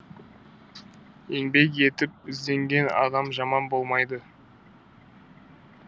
еңбек етіп ізденген адам жаман болмайды